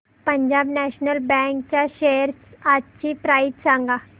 Punjab national bank च्या shares आजची price सांगा